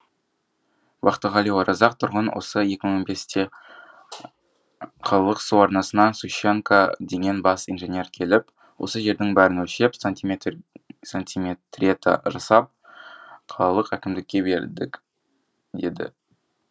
бақтығали оразақ тұрғын осы екі мың он бесте қалалық су арнасынан сущенко деген бас инженер келіп осы жердің бәрін өлшеп сантиметрета жасап қалалық әкімдікке бердік деді